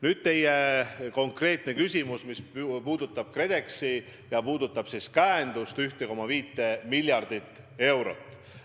Nüüd konkreetne küsimus, mis puudutas KredExit ja selle käendust 1,5 miljardi euro ulatuses.